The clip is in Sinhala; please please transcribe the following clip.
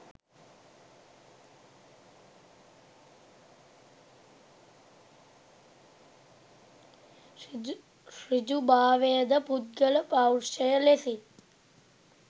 ඍජු භාවය ද පුද්ගල පෞරුෂය ලෙසින්